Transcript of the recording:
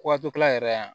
Waati yɛrɛ yan